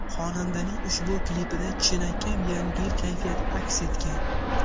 Xonandaning ushbu klipida chinakam Yangi Yil kayfiyati aks etgan.